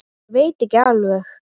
Ég veit ekki alveg.